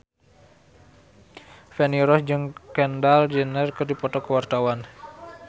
Feni Rose jeung Kendall Jenner keur dipoto ku wartawan